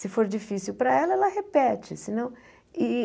Se for difícil para ela, ela repete se não e.